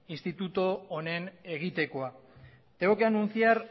institutu honen egitekoa tengo que anunciar